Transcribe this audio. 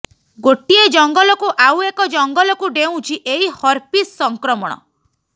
ଗୋଟିଏ ଜଙ୍ଗଲକୁ ଆଉ ଏକ ଜଙ୍ଗଲକୁ ଡେଉଁଛି ଏହି ହରପିସ୍ ସଂକ୍ରମଣ